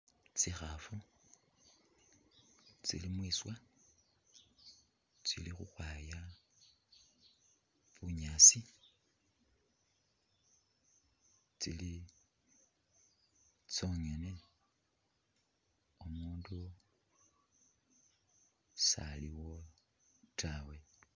Kyikhaafu tsili mwiswa tsili khukhwaya bunyaasi tsili tsongene umundu saliwo taawe..